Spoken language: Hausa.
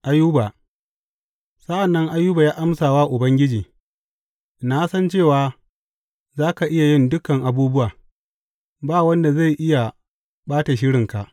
Ayuba Sa’an nan Ayuba ya amsa wa Ubangiji, Na san cewa za ka iya yin dukan abubuwa; ba wanda zai iya ɓata shirinka.